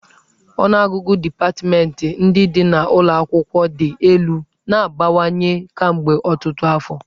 Ọnụọgụgụ dipatmentị ndị dị n'ụlọ akwụkwọ dị elu na-abawanye kemgbe ọtụtụ afọ